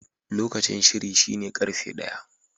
Lokacin shiri shine karfe ɗaya.